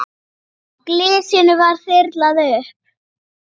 Svona vil ég minnast þín.